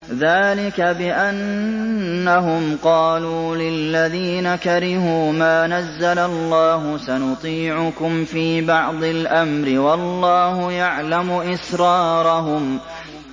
ذَٰلِكَ بِأَنَّهُمْ قَالُوا لِلَّذِينَ كَرِهُوا مَا نَزَّلَ اللَّهُ سَنُطِيعُكُمْ فِي بَعْضِ الْأَمْرِ ۖ وَاللَّهُ يَعْلَمُ إِسْرَارَهُمْ